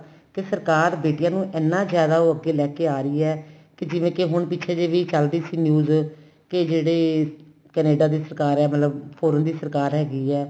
ਤੇ ਸਰਕਾਰ ਬੇਟੀਆਂ ਨੂੰ ਇੰਨਾ ਜਿਆਦਾ ਉਹ ਅੱਗੇ ਲੈ ਕੇ ਆ ਰਹੀ ਏ ਕੇ ਜਿਵੇਂ ਕੀ ਪਿੱਛੇ ਜੇ ਵੀ ਚੱਲਦੀ ਸੀ news ਕੇ ਜਿਹੜੇ ਕੈਨੇਡਾ ਦੀ ਸਰਕਾਰ ਏ ਮਤਲਬ foreign ਦੀ ਸਰਕਾਰ ਹੈਗੀ ਏ